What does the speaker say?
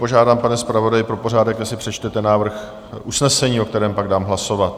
Požádám, pane zpravodaji, pro pořádek, jestli přečtete návrh usnesení, o kterém dám pak hlasovat.